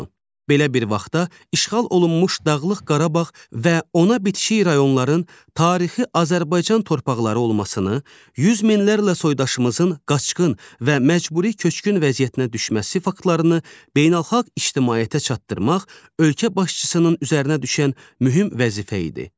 Belə bir vaxtda işğal olunmuş Dağlıq Qarabağ və ona bitişik rayonların tarixi Azərbaycan torpaqları olmasını, yüz minlərlə soydaşımızın qaçqın və məcburi köçkün vəziyyətinə düşməsi faktlarını beynəlxalq ictimaiyyətə çatdırmaq ölkə başçısının üzərinə düşən mühüm vəzifə idi.